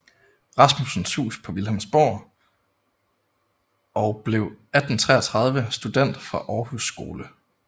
Rasmussens hus på Vilhelmsborg og blev 1833 student fra Århus Skole